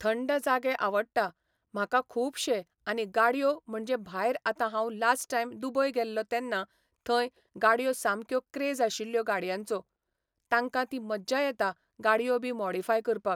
थंड जागे आवडटा म्हाका खुबशें आनी गाडयो म्हणजें भायर आतां हांव लास्ट टायम दुबय गेल्लों तेन्ना थंय गाडयो सामक्यो क्रेज आशिल्लो गाडयांचो. तांकां ती मज्जा येता गाडयो बी मोडीफाय करपाक.